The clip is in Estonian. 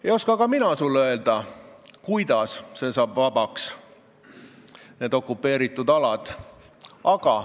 Ei oska ka mina sulle öelda, kuidas need okupeeritud alad vabaks saavad.